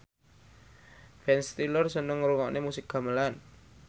Ben Stiller seneng ngrungokne musik gamelan